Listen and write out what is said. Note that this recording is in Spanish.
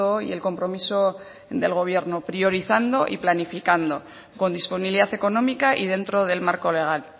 y el compromiso del gobierno priorizando y planificando con disponibilidad económica y dentro del marco legal